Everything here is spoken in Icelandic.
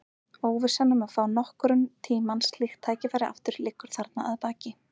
Óvissan um að fá nokkurn tíma slíkt tækifæri aftur liggur þarna að baki.